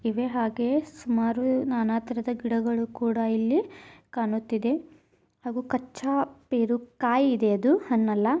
ಇವೇ ಹಾಗೆ ಸುಮಾರು ನಾನಾತರದ ಗಿಡಗಳು ಕೂಡ ಇಲ್ಲಿ ಕಾಣುತ್ತಿದೆ ಹಾಗೂ ಕಚ್ಚಾ ಪೆರು ಕಾಯಿದೆ ಅದು ಹೆಣ್ಣಲ್ಲಾ--